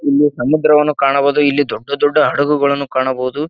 ಇಲ್ಲಿ ಸಮುದ್ರವನ್ನು ಕಾಣಬಹುದು ಇಲ್ಲಿ ದೊಡ್ಡ ದೊಡ್ಡ ಹಡಗುಗಳನ್ನು ಕಾಣಬಹುದು.